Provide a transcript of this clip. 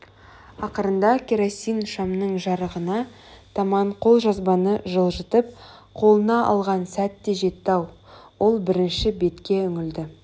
ақырында керосин шамның жарығына таман қолжазбаны жылжытып қолына алған сәт те жетті-ау ол бірінші бетке үңілді